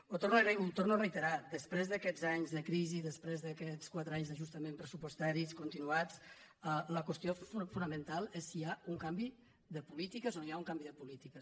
ho torno a reiterar després d’aquests anys de crisi després d’aquests quatre anys d’ajustaments pressu·postaris continuats la qüestió fonamental és si hi ha un canvi de polítiques o no hi ha un canvi de políti·ques